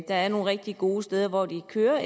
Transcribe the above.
der er nogle rigtig gode steder hvor de kører